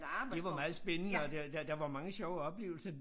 Det var meget spændende og der der der var mange sjove oplevelser